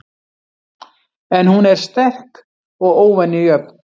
En hún er sterk og óvenju jöfn.